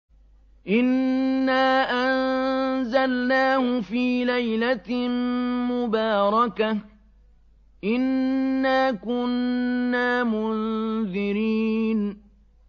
إِنَّا أَنزَلْنَاهُ فِي لَيْلَةٍ مُّبَارَكَةٍ ۚ إِنَّا كُنَّا مُنذِرِينَ